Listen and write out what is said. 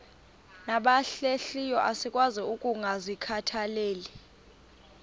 nabahlehliyo asikwazi ukungazikhathaieli